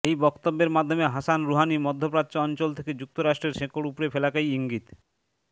এই বক্তব্যের মাধ্যমে হাসান রুহানি মধ্যপ্রাচ্য অঞ্চল থেকে যুক্তরাষ্ট্রের শেকড় উপড়ে ফেলাকেই ইঙ্গিত